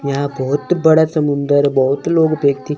यहां बहोत बड़ा समुंदर बहोत लोग व्यक्ति --